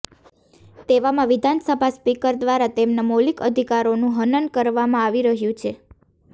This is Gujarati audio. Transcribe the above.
તેવામાં વિધાનસભા સ્પીકર દ્વારા તેમના મૌલિક અધિકારોનું હનન કરવામાં આવી રહ્યું છે